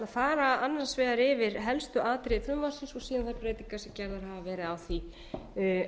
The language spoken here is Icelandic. fara annars vegar yfir helstu atriði frumvarpsins og síðan þær breytingar sem gerðar hafa verið á því á